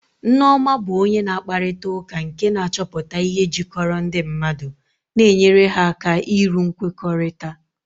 Nneoma bụ onye na-akparịta ụka nke na-achọpụta ihe jikọrọ ndị mmadụ na-enyere ha aka iru nkwekọrịta.